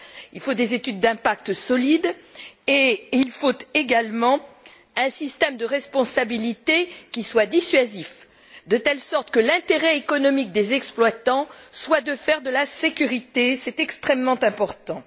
Il faut des études d'impact solides et également un système de responsabilité qui soit dissuasif, de telle sorte que l'intérêt économique des exploitants soit de faire de la sécurité, c'est extrêmement important.